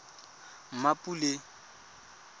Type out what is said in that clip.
mmapule